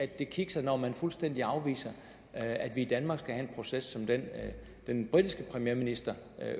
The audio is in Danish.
det kikser når man fuldstændig afviser at vi i danmark skal have en proces som den den britiske premierminister